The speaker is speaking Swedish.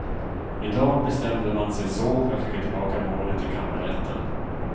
I dag bestämde man sig så för att skicka tillbaka målet till kammarrätten.